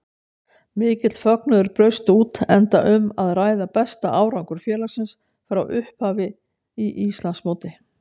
Mikill fögnuður braust út enda um að ræða besta árangur félagsins frá upphafi í Íslandsmóti.